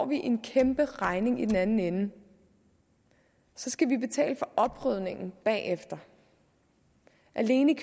en kæmperegning i den anden ende så skal vi betale for oprydningen bagefter alene